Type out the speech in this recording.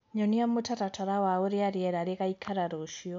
nyonĩa mũtaratara wa urĩa rĩera rĩgaĩkara ruciu